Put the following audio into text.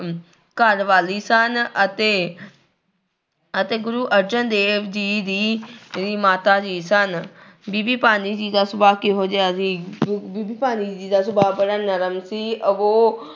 ਘਰਵਾਲੀ ਸਨ ਅਤੇ ਅਤੇ ਗੁਰੂ ਅਰਜਨ ਦੇਵ ਜੀ ਦੀ ਦੀ ਮਾਤਾ ਜੀ ਸਨ ਬੀਬੀ ਭਾਨੀ ਜੀ ਦਾ ਸੁਭਾਅ ਕਿਹੋ ਜਿਹਾ ਸੀ ਬੀ ਬੀਬੀ ਭਾਨੀ ਜੀ ਦਾ ਸੁਭਾਅ ਬੜਾ ਨਰਮ ਸੀ ਉਹ